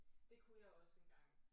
Det kunne jeg også engang